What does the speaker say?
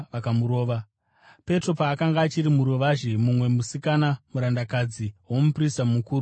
Petro paakanga achiri muruvazhe, mumwe musikana, murandakadzi womuprista mukuru akasvikapo.